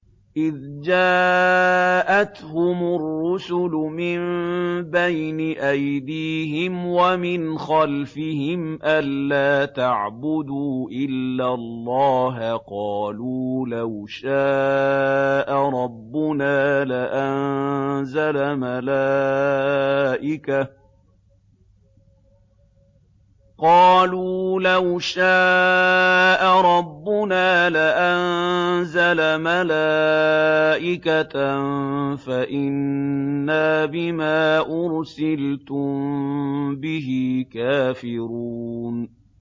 إِذْ جَاءَتْهُمُ الرُّسُلُ مِن بَيْنِ أَيْدِيهِمْ وَمِنْ خَلْفِهِمْ أَلَّا تَعْبُدُوا إِلَّا اللَّهَ ۖ قَالُوا لَوْ شَاءَ رَبُّنَا لَأَنزَلَ مَلَائِكَةً فَإِنَّا بِمَا أُرْسِلْتُم بِهِ كَافِرُونَ